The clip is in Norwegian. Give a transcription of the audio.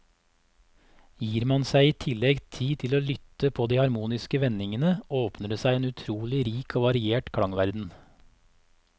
Gir man seg i tillegg tid til å lytte på de harmoniske vendingene, åpner det seg en utrolig rik og variert klangverden.